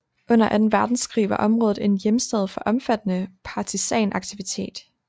Under Anden Verdenskrig var området en hjemsted for omfattende partisanaktivitet